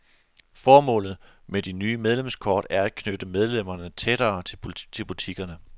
Formålet med det nye medlemskort er at knytte medlemmerne tættere til butikkerne.